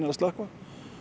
að slökkva